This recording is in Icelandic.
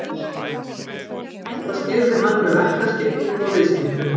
Þetta skýrði hann með verkaskiptingu og viðskiptum.